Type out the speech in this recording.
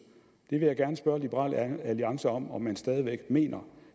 jeg vil gerne spørge liberal alliance om om man stadig væk mener